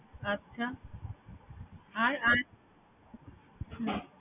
হম আচ্ছা। আর আর